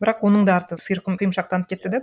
бірақ оның да артын құйымшақтанып кетті де